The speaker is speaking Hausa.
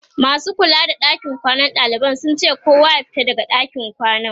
masu kula da ɗakin kwanan ɗalibai sun ce kowa ya fita daga ɗakin kwanan